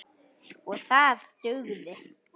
OG ÞAÐ DUGÐI.